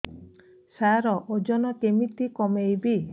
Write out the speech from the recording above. ସାର ଓଜନ କେମିତି କମେଇବି